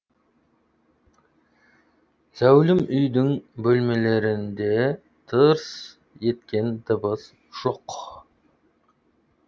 зәулім үйдің бөлмелерінде тырс еткен дыбыс жоқ